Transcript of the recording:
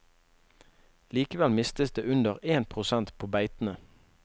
Likevel mistes det under én prosent på beitene.